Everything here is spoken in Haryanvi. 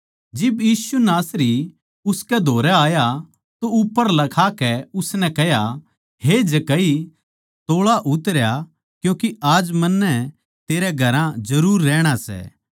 जिब यीशु नासरी उसकै धोरै आया तो उप्पर लखाकै उसनै कह्या हे जक्कई तोळा उतरया क्यूँके आज मन्नै तेरै घरां जरुर रहणा सै